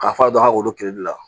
K'a fɔ a don a wololi la